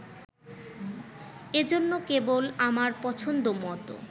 এজন্য, কেবল আমার পছন্দ মত